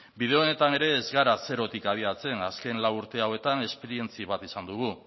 bide honetan ere ez gara zerotik adierazten azken lau urte hauetan esperientzi bat izan dugu